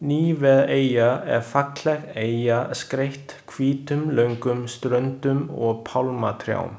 Níveeyja er falleg eyja skreytt hvítum löngum ströndum og pálmatrjám.